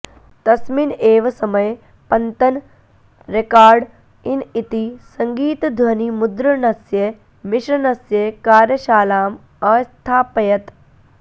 तस्मिन् एव समये पञतन् रेकार्ड् इन् इति सङ्गीतध्वनिमुद्रणस्य मिश्रणस्य कार्यशालाम् अस्थापयत्